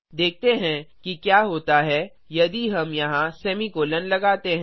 देखते हैं कि क्या होता है यदि हम यहाँ सेमीकोलों लगाते हैं